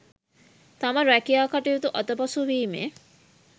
තම රැකියා කටයුතු අතපසුවීමේ